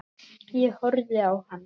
Ég horfði á hana.